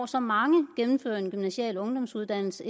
så mange der gennemfører en gymnasial ungdomsuddannelse